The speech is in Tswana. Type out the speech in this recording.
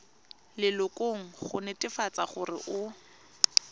lelokong go netefatsa gore o